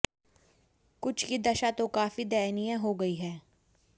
कुछ की दशा तो काफी दयनीय हो गई है